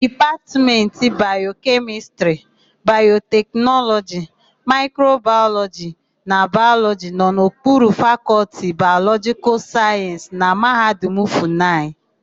Dipatmentị Bayokemịstịrị, Bayoteknọlọji, Maịkrobayọlọjị na Bayọlọjị nọ n'okpuru Fakọltị Bayọlọjịkal Sayensị na Mahadum Fụnayị.